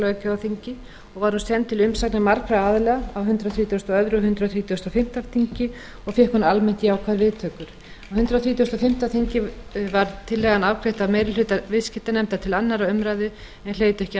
löggjafarþingi var hún send til umsagnar margra aðila á hundrað þrítugasta og öðrum og hundrað þrítugasta og fimmta þingi og fékk hún almennt jákvæðar viðtökur á hundrað þrítugasta og fimmta þingi var tillagan afgreidd af meiri hluta viðskiptanefndar til síðari umræðu en hlaut ekki